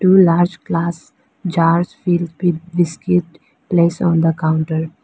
Two large glass jar fill with biscuit place on the counter.